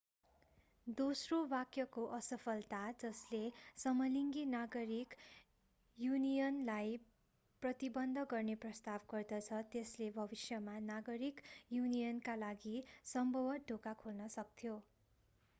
दोस्रो वाक्यको असफलता जसले समलिङ्गी नागरिक युनियनलाई प्रतिबन्ध गर्ने प्रस्ताव गर्दछ त्यसले भविष्यमा नागरिक युनियनका लागि सम्भवतः ढोका खोल्न सक्थ्यो